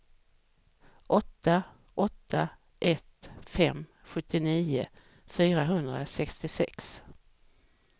åtta åtta ett fem sjuttionio fyrahundrasextiosex